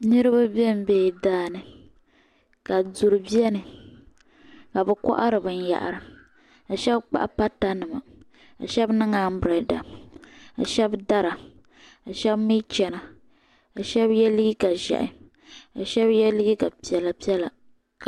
Niriba bɛ n bɛ la daa ni ka duri bɛni ka bi kɔhiri bin yahiri ka shɛba kpahi pata nima ka shɛba niŋ abirada ka shɛba dara ka shɛba mi chana ka shɛba yɛ liiga ʒiɛhi ka shɛba yɛ liiga piɛlla piɛlla.